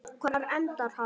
Hvar endar hann?